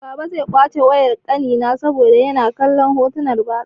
Baba zai kwace wayar ƙanina saboda yana kallon hotunan batsa.